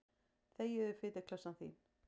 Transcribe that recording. Þegiðu, fituklessan þín.